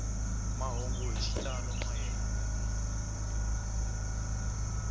mahungu hi xitalo mayelana ni